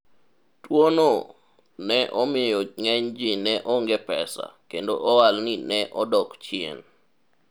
tuwono ne omiyo ng'enyji ne onge pesa, kendo ohalni ne odak chien